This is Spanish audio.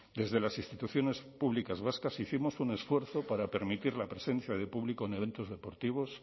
desde las instituciones públicas vascas hicimos un esfuerzo para permitir la presencia de público en eventos deportivos